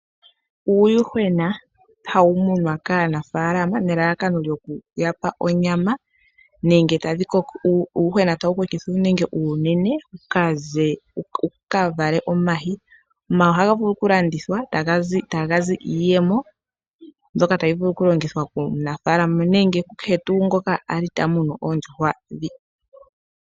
Uuyuhwena hawu munwa kaanafaalama nelalakano lyokuya pa onyama nenge uuyuhwena tawu kokithwa wu ninge uunene wu ka vale omayi. Omayi ohaga vulu oku landithwa etaga zi iiyemo mbyoka tayi vulu oku longhithwa komunafaalama nenge ku kehe tuu ngoka kwali ta munu oondjuhwa ndhi.